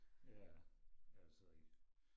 Ja det også rigtig